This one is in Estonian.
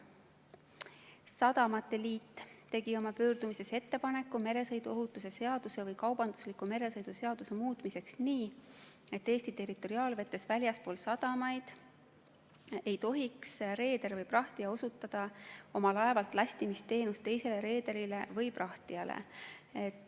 Eesti Sadamate Liit tegi oma pöördumises ettepaneku meresõiduohutuse seaduse või kaubandusliku meresõidu seaduse muutmiseks nii, et Eesti territoriaalvetes väljaspool sadamaid ei tohiks reeder või prahtija osutada oma laevalt lastimisteenust teisele reederile või prahtijale.